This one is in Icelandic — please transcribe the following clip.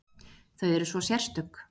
Þau eru svo sérstök.